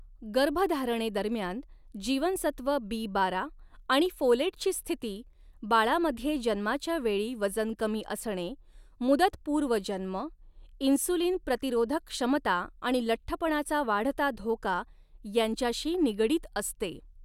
गर्भधारणेदरम्यान जीवनसत्व बी बारा आणि फोलेटची स्थिती, बाळामध्ये जन्माच्या वेळी वजन कमी असणे, मुदतपूर्व जन्म, इन्सुलिन प्रतिरोधक क्षमता आणि लठ्ठपणाचा वाढता धोका, यांच्याशी निगडित असते.